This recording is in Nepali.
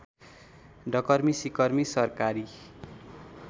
डकर्मी सिकर्मी सरकारी